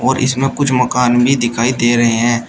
इसमें कुछ मकान भी दिखाई दे रहे हैं।